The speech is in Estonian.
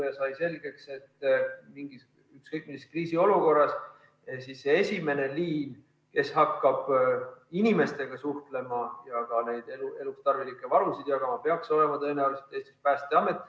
Sai selgeks, et ükskõik mis kriisiolukorras peaks esimene liin, kes hakkab inimestega suhtlema ja ka neid eluks tarvilikke varusid jagama, tõenäoliselt olema Päästeamet.